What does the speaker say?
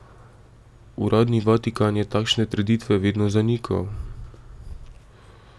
Uradni Vatikan je takšne trditve vedno zanikal.